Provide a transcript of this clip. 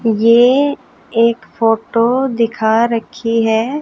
ये एक फोटो दिखा रखी है।